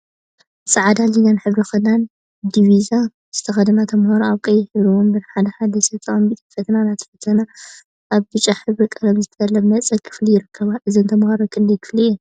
ፃዕዳን ሊላን ሕብሪ ክዳን/ዲቪዛ ዝተከደና ተማሃሮ አብ ቀይሕ ሕብሪ ወንበር ሓደ ሓደ ሰብ ተቀሚጠን ፈተና እናተፈተና አብ ብጫ ሕብሪ ቀለም ዝተለመፀ ክፍሊ ይርከባ፡፡ እዘን ተመሃሮ ክንደይ ክፍሊ እየን?